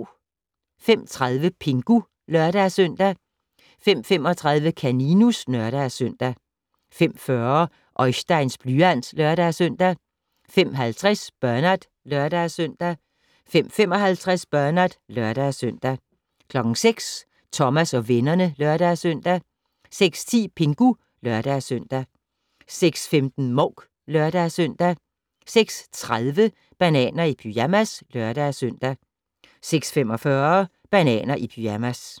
05:30: Pingu (lør-søn) 05:35: Kaninus (lør-søn) 05:40: Oisteins blyant (lør-søn) 05:50: Bernard (lør-søn) 05:55: Bernard (lør-søn) 06:00: Thomas og vennerne (lør-søn) 06:10: Pingu (lør-søn) 06:15: Mouk (lør-søn) 06:30: Bananer i pyjamas (lør-søn) 06:45: Bananer i pyjamas